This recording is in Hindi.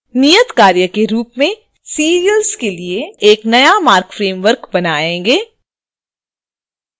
नियतकार्य के रूप में serials के लिए एक नया marc framework बनाएँ